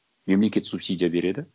мемлекет субсидия береді